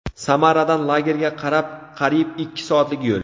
Samaradan lagerga qadar qariyb ikki soatlik yo‘l.